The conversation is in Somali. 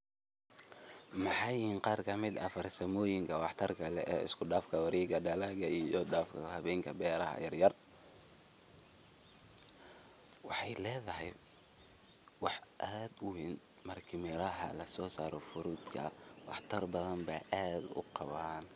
Maxay yihiin qaar ka mid ah farsamooyinka waxtarka leh ee isku Dhafka wareegga dalagga iyo isku dhafka hababka beeraha yaryar, wexeey ledahay, waax aad u weeyn, marki lasosaro miraaha fruit ka waxtar bathan bee aad uqawaan.